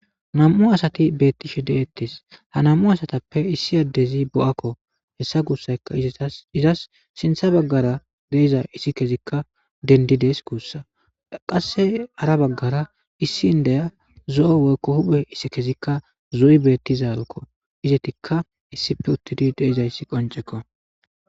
nam7u asati beettishe de'ettes ha nam7u asatappe issi addezi bo7akko hessa guussayka izetas izas sintha baggara deiza issi kezikka dendides guussa qasse ara baggara issi n deya zo7o woykko huphe issi kezikka zo7i beettizaalkko izetikka issife uttidi deizayssi qoncekko